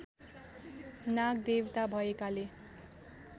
नागदेवता भएकाले